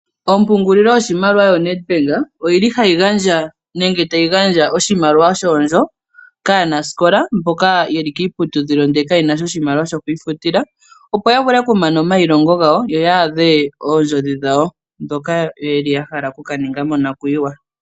Ompungulilo yoshimaliwa Nedbank oyili hayi gandja nenge tayi gandja oshimaliwa shoondjo kaanasikola mboka yeli kiiputudhilo ndele ka ye nasha oshimaliwa sho kwiifutila opo ya vule oku mana omailongo gawo yo ya adhe oondjodhi dhawo dhoka yeli ya hala oku kaninga mo nakwiiwa.